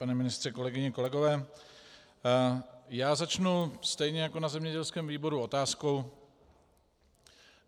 Pane ministře, kolegyně, kolegové, já začnu stejně jako na zemědělském výboru otázkou.